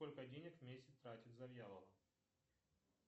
сколько денег в месяц тратит завьялова